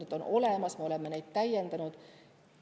Need on olemas, me oleme neid täiendanud.